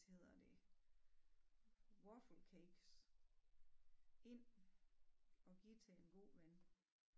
Hedder de waffle cakes ind og give til en god ven